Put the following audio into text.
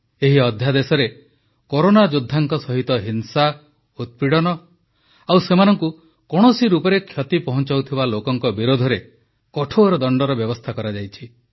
ଏହି ଅଧ୍ୟାଦେଶରେ କରୋନା ଯୋଦ୍ଧାଙ୍କ ସହିତ ହିଂସା ଉତ୍ପୀଡ଼ନ ଆଉ ସେମାନଙ୍କୁ କୌଣସି ରୂପରେ କ୍ଷତି ପହଂଚାଉଥିବା ଲୋକଙ୍କ ବିରୋଧରେ କଠୋର ଦଣ୍ଡର ବ୍ୟବସ୍ଥା କରାଯାଇଛି